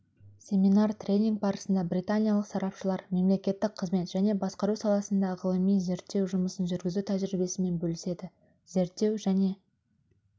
семинар-тренинг барысында британиялық сарапшылар мемлекеттік қызмет және басқару саласында ғылыми-зерттеу жұмысын жүргізу тәжірибесімен бөліседі зерттеу және